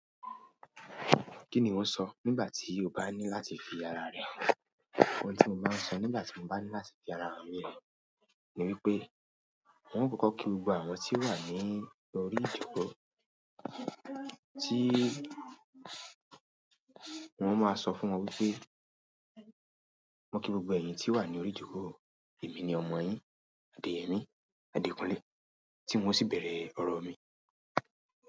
Kí ni iwọ́ sọ nígbà tí o bá ní láti fi ara rẹ hàn? Ohun tí mo máa ń sọ nígbà tí mo bá ní láti fi ara mi hàn ni wípé, un kòkó kí gbogbo àwọn tí o wà ní orí ìjokò, tí un o máa sọ fún wọn wípé, mo kí gbogbo ẹ̀yìn tí wà ní orí ìjoko, èmi ni ọmọ yín, Adeyemi Adekunle, tí un o sì bẹ̀rẹ̀ ọ̀rọ̀ mi.